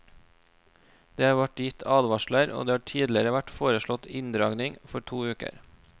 Det har vært gitt advarsler og det har tidligere vært foreslått inndragning for to uker.